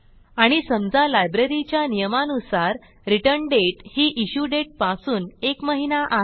आणि समजा लायब्ररीच्या नियमानुसार रिटर्न दाते ही इश्यू दाते पासून एक महिना आहे